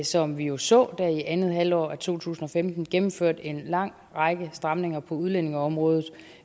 som vi jo så i andet halvår af to tusind og femten gennemført en lang række stramninger på udlændingeområdet